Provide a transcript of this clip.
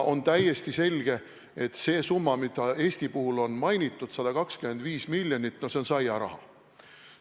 On täiesti selge, et see summa, mida Eesti puhul on mainitud – 125 miljonit –, on saiaraha.